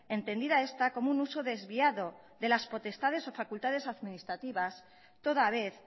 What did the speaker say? entendida esta como un uso desviado de las potestades o facultades administrativas toda vez